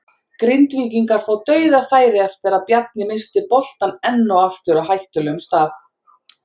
Grindvíkingar fá DAUÐAFÆRI eftir að Bjarni missti boltann enn og aftur á hættulegum stað!